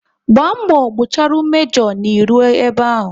Gba mgbọ gbucharu mejo na ị ruo ebe ahụ!